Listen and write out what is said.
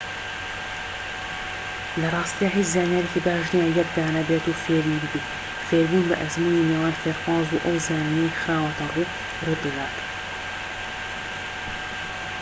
لە ڕاستیدا هیچ زانیاریەکی باش نیە یەک دانە بێت و فێری ببیت فێربوون بە ئەزموونی نێوان فێرخواز و ئەو زانینەی خراوەتە ڕوو ڕوودەدات